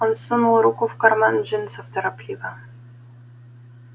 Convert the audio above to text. он сунул руку в карман джинсов торопливо